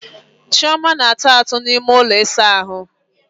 Chioma na-ata atụ n'ime ụlọ ịsa ahụ.